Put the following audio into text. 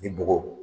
Ni bɔgɔ